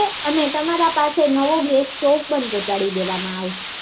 અને તમારા પાસે નવો ગેસ સ્ટોવ પણ પહોચાડી દેવામાં આવશે